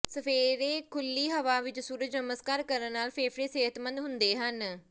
ਸਵੇਰੇ ਖੁੱਲੀ ਹਵਾ ਵਿਚ ਸੂਰਜ ਨਮਸਕਾਰ ਕਰਨ ਨਾਲ ਫੇਫੜੇ ਸਿਹਤਮੰਦ ਹੁੰਦੇ ਹਨ